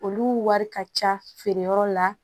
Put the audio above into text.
Olu wari ka ca feereyɔrɔ la